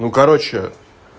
ну короче